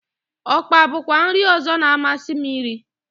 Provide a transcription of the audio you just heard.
Ọkpa bụkwa nri ọzọ na-amasị m irí.